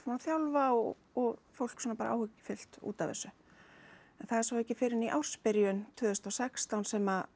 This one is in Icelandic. þjálfa og og fólk er svona bara áhyggjufullt út af þessu en það er svo ekki fyrr en í ársbyrjun tvö þúsund og sextán sem